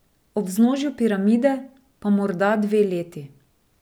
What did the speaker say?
Ob vznožju piramide pa morda dve leti.